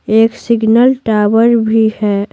एक signal tower भी है।